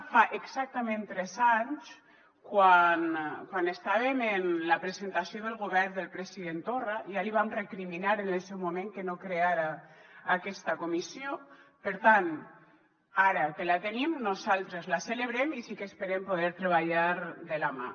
fa exactament tres anys quan estàvem en la presentació del govern del president torra ja li vàrem recriminar en el seu moment que no creara aquesta comissió per tant ara que la tenim nosaltres la celebrem i sí que esperem poder treballar hi de la mà